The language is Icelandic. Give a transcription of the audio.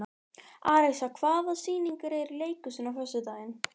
Arisa, hvaða sýningar eru í leikhúsinu á föstudaginn?